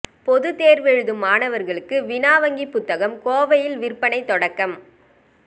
பொதுத் தேர்வெழுதும் மாணவர்களுக்கு வினா வங்கி புத்தகம் கோவையில் விற்பனை தொடக்கம்